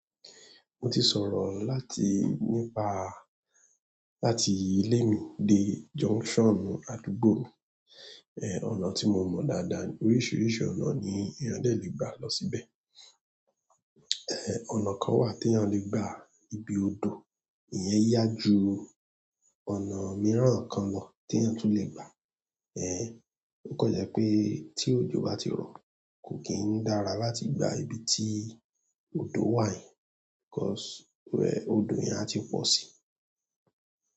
Mo ti sọ̀rọ̀ láti nípa, láti ilé mi dé junction àdúgbò, ẹ, ọ̀nà tí mo mọ̀ dáadáa, oríṣiríṣi ọ̀nà ni eeyan dẹ lè gbà lọ síbẹ̀. Ẹ, ọ̀nà kan wà teeyan lè gbà ibi odò, ìyẹn yá ju ọ̀nà mìíràn kan lọ tí a tún lè gbà. Ẹ, ó kan jẹ́ pé tí òjò bá ti rọ̀, kò kì n dára láti gba ibi tí odò wà, because ọ̀dọ̀ yẹn a ti pọ̀ sí.